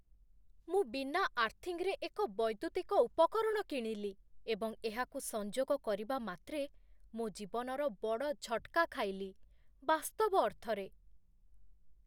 ମୁଁ ବିନା ଆର୍ଥିଙ୍ଗରେ ଏକ ବୈଦ୍ୟୁତିକ ଉପକରଣ କିଣିଲି ଏବଂ ଏହାକୁ ସଂଯୋଗ କରିବା ମାତ୍ରେ ମୋ ଜୀବନର ବଡ଼ ଝଟ୍‌କା ଖାଇଲି, ବାସ୍ତବ ଅର୍ଥରେ ।